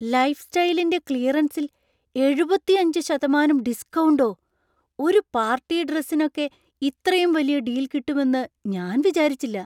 ലൈഫ്സ്റ്റൈലിന്‍റെ ക്ലിയറൻസിൽ എഴുപത്തിയഞ്ച് ശതമാനം ഡിസ്കൗണ്ടോ! ഒരു പാർട്ടി ഡ്രസ്സിനൊക്കെ ഇത്രയും വലിയ ഡീൽ കിട്ടുമെന്ന് ഞാൻ വിചാരിച്ചില്ല.